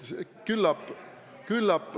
Küllap ...